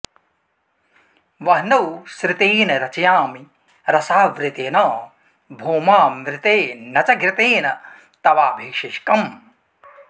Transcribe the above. वह्नौ सृतेन रचयामि रसावृतेन भौमामृते न च घृतेन तवाभिषेकम्